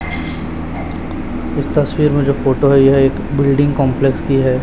इस तस्वीर में जो फोटो है यह एक बिल्डिंग कंपलेक्स की है।